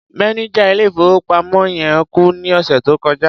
Mánẹjà ilé-ìfowópamọ́ yẹn kú ní ọ̀sẹ̀ tó kọjá.